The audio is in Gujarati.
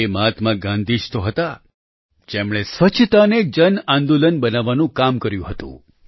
એ મહાત્મા ગાંધી જ તો હતા જેમણે સ્વચ્છતા ને જનઆંદોલન બનાવવાનું કામ કર્યું હતું